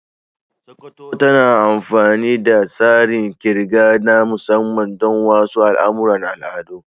Sokoto tana amfani da tsarin ƙirga na musamman don wasu al'amuran al'adu.